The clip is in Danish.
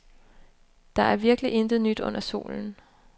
Der er virkelig intet nyt under solen.